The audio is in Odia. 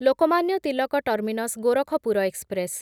Lokmanya Tilak terminus Gorakhpur express